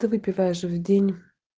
ты выпиваешь в день